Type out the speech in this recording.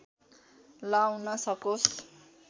लाउन सकोस्